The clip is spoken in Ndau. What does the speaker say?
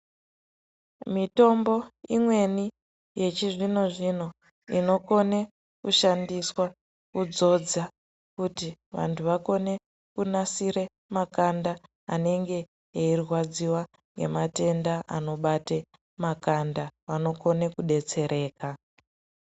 Mitombo imweni yechizvino zvino inokone kushandiswa kuzodza kuti vantu vakone kunasira makanda anenge eyirwadziwa nge matenda anobate makanda anobate makanda anokone kudetsereka.